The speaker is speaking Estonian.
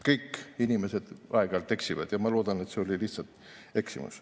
Kõik inimesed aeg-ajalt eksivad ja ma loodan, et see oli lihtsalt eksimus.